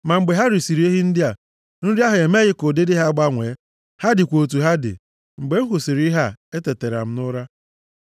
Ma mgbe ha risiri ehi ndị a, nri ahụ emeghị ka ụdịdị ha gbanwee. Ha dịkwa otu ha dị. Mgbe m hụsịrị ihe a, etetara m nʼụra.